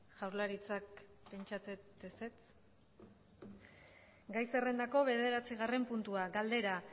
jaurlaritzak pentsatzen dut ezetz gai zerrendako bederatzigarren puntua galdera